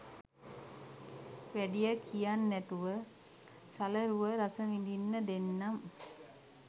වැඩිය කියන් නැතුව සලරුව රස විදින්න දෙන්නම්